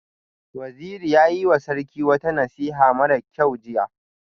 Waziri ya yiwa Sarki wata nasiha mara kyau jiya